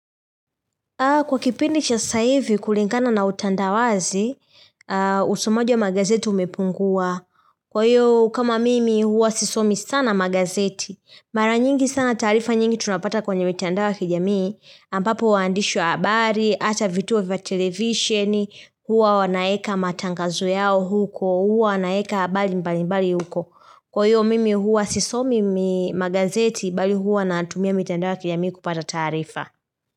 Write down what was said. Kwa kipindi cha saivi kulingana na utandawazi, usomaji wa magazeti umepungua. Kwa hiyo, kama mimi huwa sisomi sana magazeti, mara nyingi sana taarifa nyingi tunapata kwenye mitandao ya kijamii, ambapo waandishi wa abari, ata vituo vya television, huwa wanaeka matangazo yao huko, huwa wanaeka bali mbali mbali huko. Kwa hiyo, mimi huwa sisomi magazeti, bali huwa natumia mitandao ya kijamii kupata taarifa.